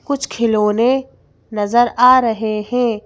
कुछ खिलौने नजर आ रहे हैं।